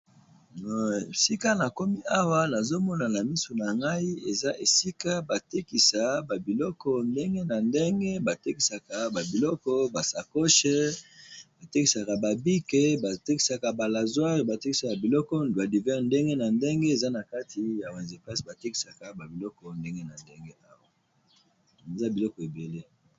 Na boutique esika batekisaka ba biloko ndenge na ndenge.